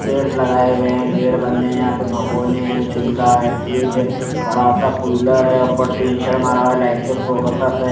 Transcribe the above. पेड़ लगाए हुए गेट बंद है यहां पे भगोने हैं चुला है फ्रिज हैं बड़ा सा कूलर है ऊपर टीन शे मारा है लाइट के फोकसो से--